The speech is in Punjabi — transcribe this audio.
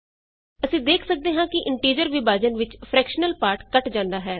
ਅਸੀਂ ਦੇਖ ਸਕਦੇ ਹਾਂ ਕਿ ਇੰਟੀਜ਼ਰ ਵਿਭਾਜਨ ਵਿਚ ਫਰਕੈਸ਼ਨਲ ਪਾਰਟ ਕੱਟ ਜਾਂਦਾ ਹੈ